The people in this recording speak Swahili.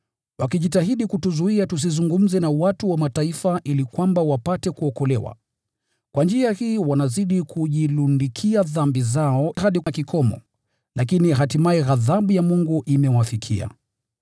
wakijitahidi kutuzuia tusizungumze na watu wa Mataifa ili kwamba wapate kuokolewa. Kwa njia hii wanazidi kujilundikia dhambi zao hadi kikomo. Lakini hatimaye ghadhabu ya Mungu imewafikia.